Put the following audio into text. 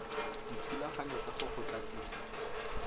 dithulaganyo tsa go go tlatsisa